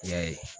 I y'a ye